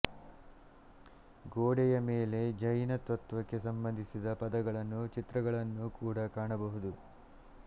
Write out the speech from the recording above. ಗೋಡೆಯಮೇಲೆ ಜೈನ ತತ್ವಕ್ಕೆ ಸಂಬಂಧಿಸಿದ ಪದಗಳನ್ನು ಚಿತ್ರಗಳನ್ನೂ ಕೂಡ ಕಾಣಬಹುದು